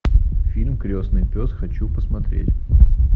фильм крестный пес хочу посмотреть